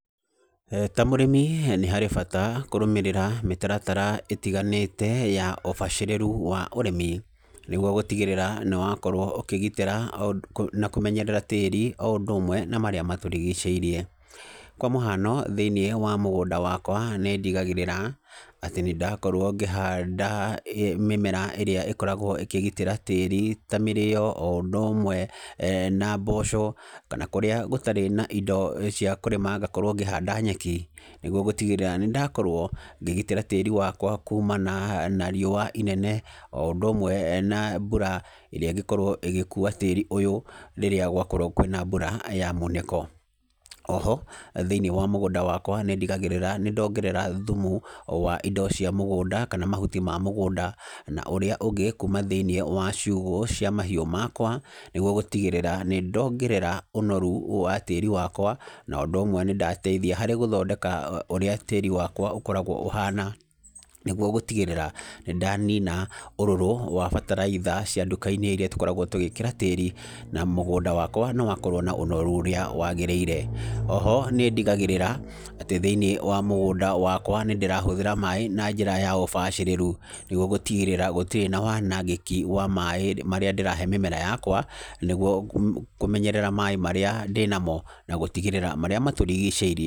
Ta mũrĩmi nĩ harĩ bata kũrũmĩrĩra mĩtaratara ĩtiganĩte ya ũbacĩrĩru wa ũrĩmi, nĩguo gũtigĩrĩra nĩ wakorwo ũkĩgitĩra na kũmenyerera tĩri o ũndũ ũmwe na marĩa matũrigicĩirie. Kwa mũhano, thĩiniĩ wa mũgũnda wakwa, nĩ ndigagĩrĩra, atĩ nĩ ndakorwo ngĩhanda mĩmera ĩrĩa ĩkoragwo ĩkĩgitĩra tĩri ta mĩrĩo, o ũndũ ũmwe na mboco. Kana kũrĩa gũtarĩ na indo cia kũrĩma, ngakorwo ngĩhanda nyeki, nĩguo gũtigĩrĩra nĩ ndakorwo, ngĩgitĩra tĩri wakwa kumana na riũa inene, o ũndũ ũmwe na mbura, ĩrĩa ĩngĩkorwo ĩgĩkuua tĩri ũyũ, rĩrĩa gwakorwo kwĩna mbura ya munĩko. Oho, thĩiniĩ wa mũgũnda wakwa nĩ ndigagĩrĩra nĩ ndongerera thumu, wa indo cia mũgũnda kana mahuti ma mũgũnda, na ũrĩa ũngĩ kuuma thĩiniĩ wa ciugũ cia mahiũ makwa, nĩguo gũtigĩrĩra nĩ ndongerera ũnoru wa tĩri wakwa, na ũndũ ũmwe nĩ ndateithia harĩ gũthondeka ũrĩa tĩri wakwa ũkoragwo ũhana. Nĩguo gũtigĩrĩra, nĩ ndanina ũrũrũ wa bataraitha cia nduka-inĩ irĩa tũkoragwo tũgĩkĩra tĩri, na mũgũnda wakwa nĩ wakorwo na ũnoru ũrĩa wagĩrĩire. Oho, nĩ ndigagĩrĩra, atĩ thĩiniĩ wa mũgũnda wakwa, nĩ ndĩrahũthĩra maĩ na njĩra ya ũbacĩrĩru, nĩguo gũtigĩrĩra gũtirĩ na wanangĩki wa maĩ marĩa ndĩrahe mĩmera yakwa, nĩguo kũmenyerera maĩ marĩa ndĩnamo na gũtigĩrĩra marĩa matũrigicĩirie.